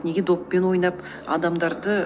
неге доппен ойнап адамдарды